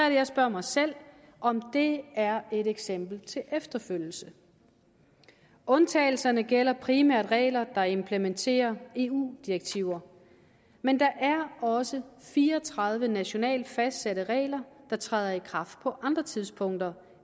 jeg spørger mig selv om det er et eksempel til efterlevelse undtagelserne gælder primært regler der implementerer eu direktiver men der er også fire og tredive nationalt fastsatte regler der træder i kraft på andre tidspunkter